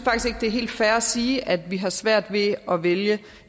det er helt fair at sige at vi har svært ved at vælge